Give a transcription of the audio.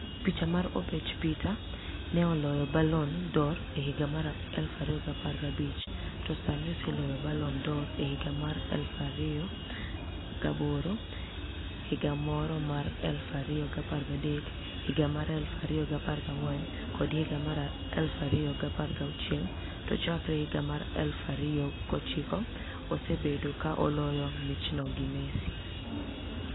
Picha mar Obech peter ni e oloyo Balloni d'Or e higa mar 2015 to Saanii oseloyo Balloni d'Or e higa mar 2008, 2013, 2014 kod 2016 to chakre higa mar 2009 osebedo ka oloyo michno gi Messi